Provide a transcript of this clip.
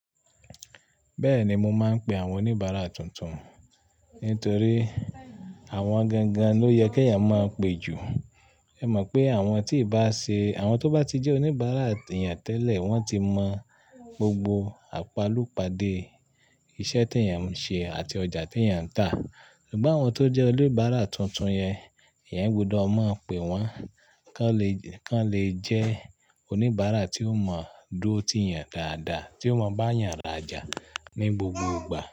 Bẹ́ẹ̀ni, mo máa ń pe àwọn oníbàárà tuntun nítorí àwọn gangan ló yẹ kí à eyan máa pe jù. Ẹ mọ̀ pé àwọn tí ì bá ṣe, àwọn tó bá ti jẹ́ oníbàárà eyan tẹ́lẹ̀ wọ́n ti mọ gbogbo àpàlùpàde iṣẹ́ tí eyan ń ṣe àti ọjà tí eyan ń tà. Ṣùgbọ́n àwọn tó jẹ́ oníbàárà tuntun yẹn, ìyẹn gbọdọ̀ máa pe wọ́n kí wọ́n le, kí wọ́n le jẹ́ oníbàárà tí ó mọ dúró ti eyan dáadáa, tí ó mọ bá ìyẹn rajà ní gbogbo ìgbà.